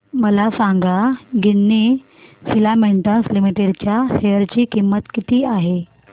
मला सांगा Ginni filaments limited च्या शेअर ची किंमत किती आहे